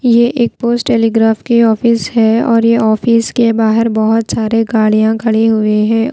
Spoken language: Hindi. ये एक पोस्ट टेलीग्राफ के ऑफिस है और ये ऑफिस के बाहर बहोत सारे गाड़ियां खड़ी हुए हैं।